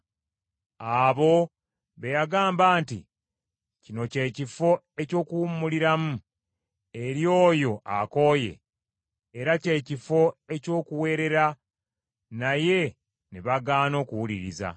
abo be yagamba nti, Kino kye kifo eky’okuwummuliramu eri oyo akooye, era kye kifo eky’okuwerera naye ne bagaana okuwuliriza.